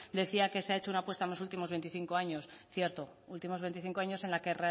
decía que se ha hecho una apuesta en los últimos veinticinco años cierto últimos veinticinco años en la que